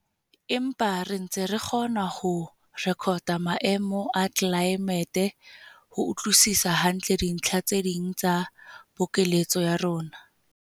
Empa re ntse re kgona ho rekota maemo a tlelaemete ho utlwisisa hantle dintlha tse ding tsa pokelletso ya rona.